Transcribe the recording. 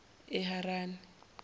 eharani